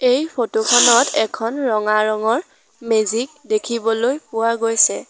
এই ফটো খনত এখন ৰঙা ৰঙৰ মেজিক দেখিবলৈ পোৱা গৈছে।